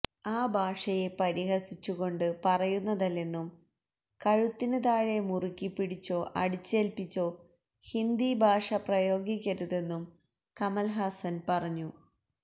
ആ ഭാഷയെ പരിഹസിച്ചു കൊണ്ട് പറയുന്നതല്ലെന്നും കഴുത്തിന് താഴെ മുറുക്കി പിടിച്ചോ അടിച്ചേല്പ്പിച്ചോ ഹിന്ദി ഭാഷ പ്രയോഗിക്കരുതെന്നും കമല്ഹാസന് പറഞ്ഞു